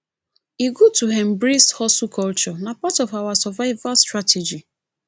e good to embrace hustle culture na part of our survival strategy